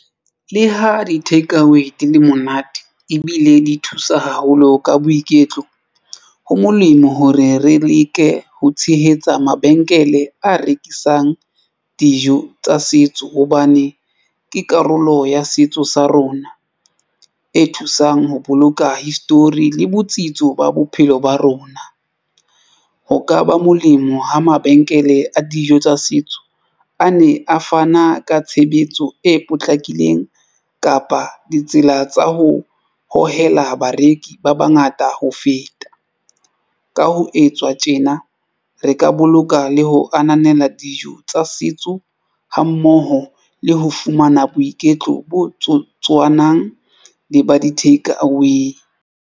Le ha di-takeaway di le monate ebile di thusa haholo ka boiketlo ho molemo hore re leke ho tshehetsa mabenkele a rekisang dijo tsa setso hobane ke karolo ya setso sa rona e thusang ho boloka history le botsitso ba bophelo ba rona. Ho ka ba molemo ho mabenkele a dijo tsa setso a ne a fana ka tshebetso e potlakileng kapa ditsela tsa ho hohela bareki ba bangata. Ka ho etswa tjena re ka boloka le ho ananela dijo tsa setso ha mmoho le ho fumana boiketlo bo tsotsi. Utlwanang le ba di-take away.